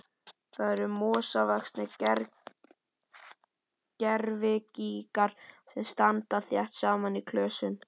Þetta eru mosavaxnir gervigígar sem standa þétt saman í klösum.